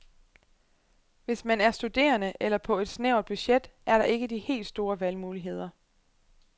Hvis man er studerende eller på et snævert budget, er der ikke de helt store valgmuligheder.